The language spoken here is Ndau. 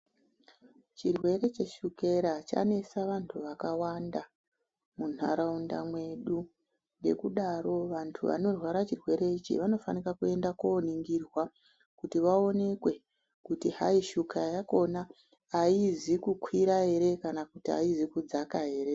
Chirwere cheshukera chanesa vantu vakawanda munharaunda mwedu. Ngekudaro vantu vanorwara chirwere ichi vanofanika kuenda kuoningirwa kuti vaonekwe kuti hayi shuga yakona haizi kukwira here kana kuti haizi kudzaka here.